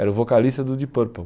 Era o vocalista do Deep Purple.